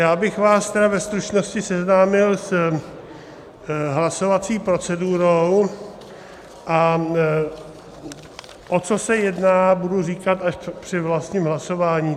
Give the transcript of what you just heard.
Já bych vás tedy ve stručnosti seznámil s hlasovací procedurou, a o co se jedná, budu říkat až při vlastním hlasování.